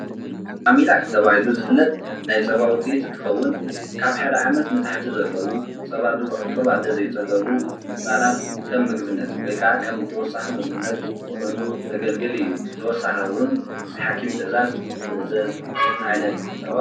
ማሚላክ ተባሂሉ ዝፍለጥ ናይ ፃባ ውፂኢት እንትከውን ካብ ሓደ ዓመት ንታሕቲ ዘለው ፀባ ጡብ ኣዶ ዘይፀገቡ ህፃናት ከም ምግብነት ወይከዓ ከም ተወሳኪ ምግብነት ኮይኑ ዘገልግል እዩ። ብተወሳኪ እወን ብሓኪም ትእዛዘ ዝእዘዝ ዓይነት ፀባ እዩ።